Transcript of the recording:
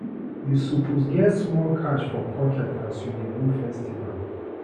You suppose get small cash for pocket as you dey go festival.